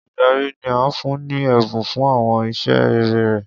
Oludari ni a fun ni ẹbun fun awọn iṣẹ rere rẹ.